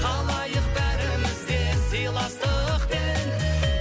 қалайық бәріміз де сыйластықпен